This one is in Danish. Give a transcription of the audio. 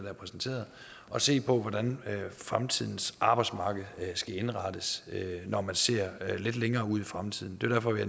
er præsenteret at se på hvordan fremtidens arbejdsmarked skal indrettes når man ser lidt længere ud i fremtiden